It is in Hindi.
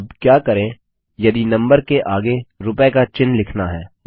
अब क्या करें यदि नम्बर के आगे रुपए का चिन्ह लिखना है